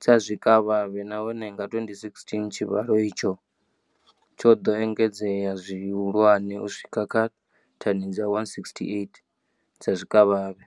dza zwikavhavhe, nahone nga 2016 tshivhalo itshi tsho ḓo engedzea zwihulwane u swika kha thani dza 168 dza zwikavhavhe.